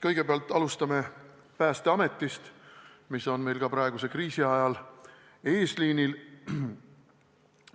Kõigepealt räägime Päästeametist, sest see on meil ka praeguse kriisi ajal eesliinil.